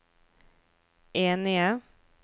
enige